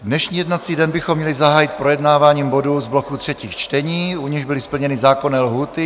Dnešní jednací den bychom měli zahájit projednáváním bodů z bloku třetích čtení, u nichž byly splněny zákonné lhůty.